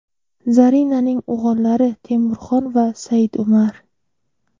Zarinaning o‘g‘illari Temurxon va Saidumar.